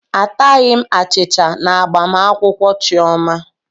Ataghị m achicha na agbamakwụkwọ Chioma.